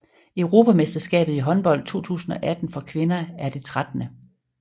Europamesterskabet i håndbold 2018 for kvinder er det 13